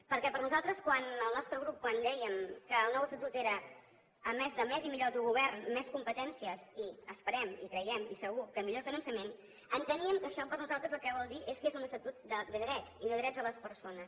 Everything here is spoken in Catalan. perquè per a nosaltres quan el nostre grup quan dèiem que el nou estatut era a més de més i millor autogovern més competències i esperem i creiem i segur que millor finançament enteníem que això per a nosaltres el que vol dir és que és un estatut de dret i de drets de les persones